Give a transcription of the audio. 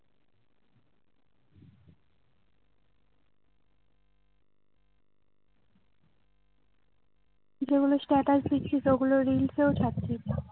তুই যেগুলো status দিচ্ছিস ওগুলো reels এত্ত ছারছিস না